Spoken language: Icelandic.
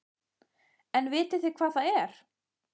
En vitið þið hvað það er?